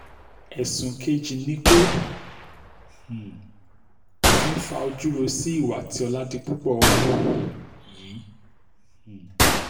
ẹ̀sùn kejì ni pé um òfin faújọrọ sí ìwà tí oládìpúpọ̀ hù yìí um